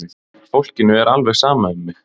Fólkinu er alveg sama um mig!